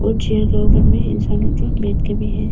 Chair के ऊपर में इंसान लोग जो बैठ के भी है।